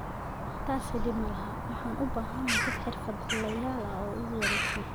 Taasi dhib ma aha, waxaan u baahanahay dad xirfadlayaal ah oo igu wareegsan''.